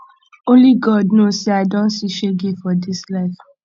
only god know say i don see shege for dis life